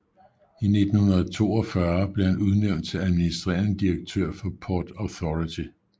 I 1942 blev han udnævnt til administrerende direktør for Port Authority